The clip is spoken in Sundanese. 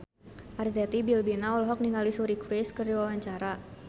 Arzetti Bilbina olohok ningali Suri Cruise keur diwawancara